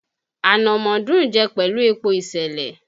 Ànàmọ́ dùn ún jẹ́ pẹ̀lú epo ìsèlè